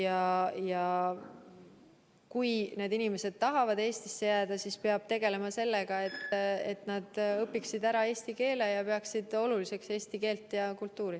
Aga kui need inimesed tahavad Eestisse jääda, siis peab tegelema sellega, et nad õpiksid ära eesti keele ja peaksid oluliseks eesti keelt ja kultuuri.